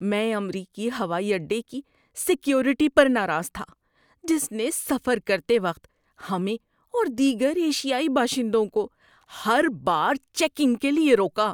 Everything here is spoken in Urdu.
میں امریکی ہوائی اڈے کی سیکیورٹی پر ناراض تھا، جس نے سفر کرتے وقت ہمیں اور دیگر ایشیائی باشندوں کو ہر بار چیکنگ کے لیے روکا۔